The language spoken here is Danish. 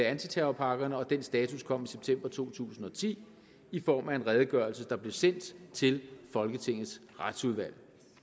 antiterrorpakkerne og den status kom i september to tusind og ti i form af en redegørelse der blev sendt til folketingets retsudvalg